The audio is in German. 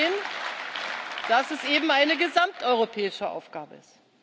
zu verstehen, dass es eben eine gesamteuropäische Aufgabe ist.